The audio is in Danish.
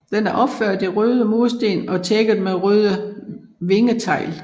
Den er opført i røde mursten og tækket med røde vingetegl